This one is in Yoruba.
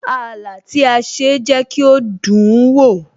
Ààlà tí a ṣe jẹ́ kí ó dùn ún wò